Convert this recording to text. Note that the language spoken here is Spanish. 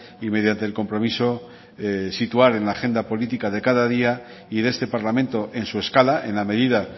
y mediante el compromiso situar en la agenda política de cada día y de este parlamento en su escala en la medida